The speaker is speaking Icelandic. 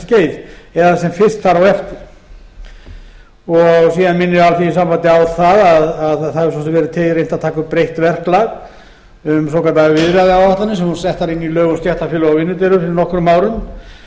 skeið eða sem fyrst þar á eftir síðan minnir alþýðusambandið á að það hefur svo sem kveðið reynt að taka upp breytt verklag um svokallaðar viðræðuáætlanir sem voru settar inn í lög um stéttarfélög og vinnudeilur fyrir nokkrum árum